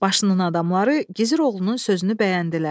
Başının adamları Gizir oğlunun sözünü bəyəndilər.